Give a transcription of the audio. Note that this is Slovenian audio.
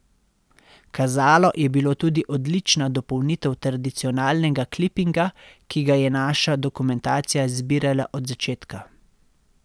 Kazalo je bilo tudi odlična dopolnitev tradicionalnega klipinga, ki ga je naša dokumentacija zbirala od začetka.